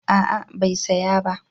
A'a bai saya ba